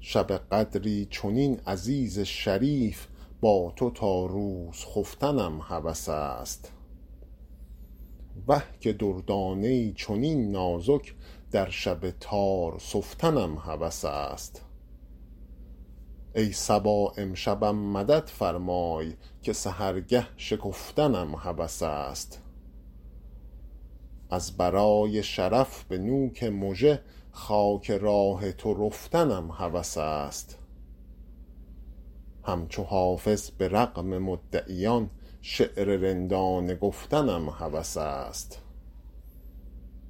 شب قدری چنین عزیز شریف با تو تا روز خفتنم هوس است وه که دردانه ای چنین نازک در شب تار سفتنم هوس است ای صبا امشبم مدد فرمای که سحرگه شکفتنم هوس است از برای شرف به نوک مژه خاک راه تو رفتنم هوس است همچو حافظ به رغم مدعیان شعر رندانه گفتنم هوس است